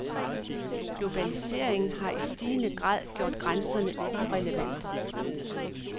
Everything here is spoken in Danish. Globaliseringen har i stigende grad gjort grænserne irrelevante.